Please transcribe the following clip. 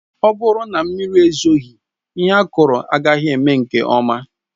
Ọ bụrụ na mmiri ezoghị, ihe akụrụ agaghị eme nke ọma